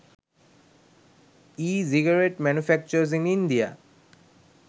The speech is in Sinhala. e cigarette manufacturers in india